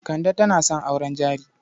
Kande tana son auren jari.